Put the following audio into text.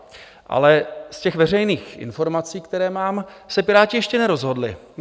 Ale z těch veřejných informací, které mám, se Piráti ještě nerozhodli.